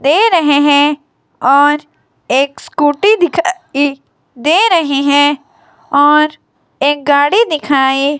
दे रहे हैं और एक स्कूटी दिखाई दे रही है और एक गाड़ी दिखाई --